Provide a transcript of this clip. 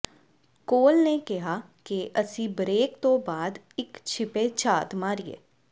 ਕੋਲ ਨੇ ਕਿਹਾ ਕਿ ਅਸੀਂ ਬਰੇਕ ਤੋਂ ਬਾਅਦ ਇਕ ਛਿਪੇ ਝਾਤ ਮਾਰੀਏ